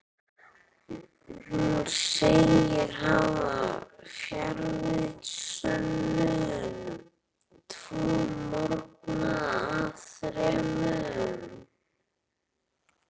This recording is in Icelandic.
Hún segist hafa fjarvistarsönnun tvo morgna af þremur.